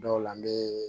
Dɔw la n be